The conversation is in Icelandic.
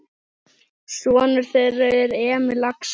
Sonur þeirra er Emil Axel.